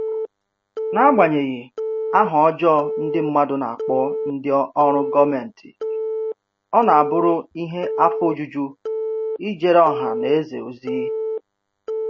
N'agbanyeghị aha ọjọọ ndị mmadụ na-akpọ ndị ọrụ gọọmentị, ọ na-abụrụ ihe afọ ojuju ijere ọha na eze ozi